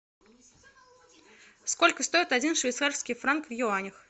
сколько стоит один швейцарский франк в юанях